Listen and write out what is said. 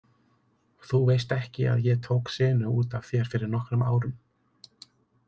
Þú veist ekki að ég tók senu út af þér fyrir nokkrum árum.